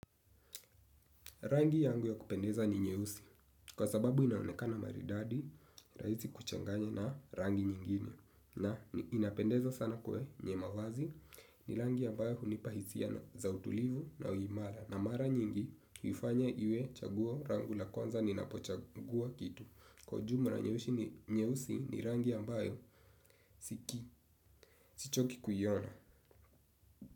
Rangi yangu ya kupendeza ni nyeusi kwa sababu inaonekana maridadi rahisi kuchanganya na rangi nyingine na inapendeza sana kwenye mavazi ni rangi ambayo hunipa hisia na za utulivu na uimara na mara nyingi huifanya iwe chaguo rangu la kwanza ninapochagua kitu. Kwa jumla na nyeusi ni nyeusi ni rangi ambayo siki, sichoki kuiona.